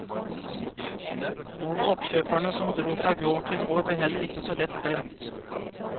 Og oppkjøperne som dro fra gård til gård blir heller ikke så lett glemt.